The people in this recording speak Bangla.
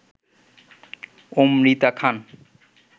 অমৃতা খান